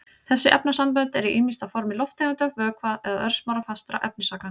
Þessi efnasambönd eru ýmist á formi lofttegunda, vökva eða örsmárra fastra efnisagna.